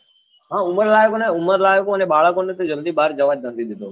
હમ ઉમરલાયકો અને ઉમરલાયકો અને બાળકો ને જલ્દી બાર જવા જ નથી દેતો